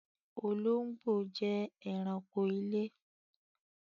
Olongbo jẹ́ èránkò ilẹ̀.